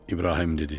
İbrahim dedi: